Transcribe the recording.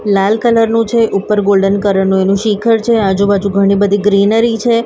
લાલ colour નુ છે ઉપર ગોલ્ડન કલર નુ એનુ શિખર છે આજુ બાજુ ઘણી-બધી ગ્રીનરી છે.